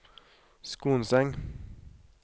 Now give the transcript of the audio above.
Skonseng